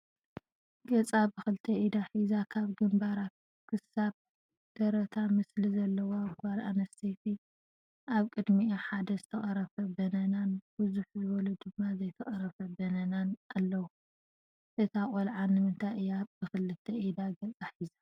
ገፃ ብክልተ ኢዳ ሒዛ ካብ ግንባራ ክሳብ ደረታ ምስሊ ዘለዋ ጓል ኣነስተይቲ ኣብ ቅድሚኣ ሓደ ዝትቀረፈ በነናን ብዝሕ ዝብሉ ድማ ዘይተቀረፉ በነናን ኣለዉ፡፡ እታ ቆልዓ ንምንታይ እያ ብክልተ ኢዳ ገፃ ሒዛ?